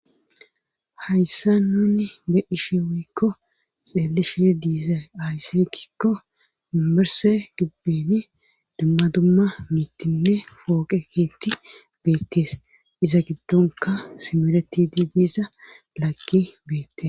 hayssa nuni be 'ishe woykko xeelishi diiza ayssirkikko mimmerse gibbeni dumma dumma mittinne fooqe keetti beettees iza giddonka simereti di diiza lakki beette